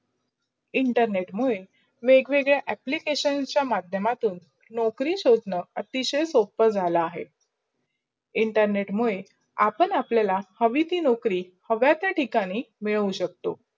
internet मुडे वेगवेगडा applications चा माध्य्यमातून नोकरी शोधन अतिशया सोप झाला अहे. internet मुडे, आपण आपलायला हवी ती नोकरी हव्या तया ठिकाणी मिडवू शकतो.